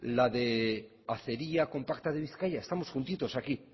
la de acería compacta de bizkaia estamos juntitos aquí